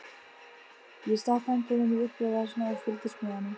Ég stakk höndunum í úlpuvasana og fylgdist með honum.